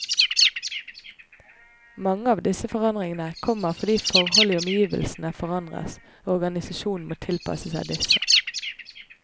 Mange av disse forandringene kommer fordi forhold i omgivelsene forandres, og organisasjonen må tilpasse seg disse.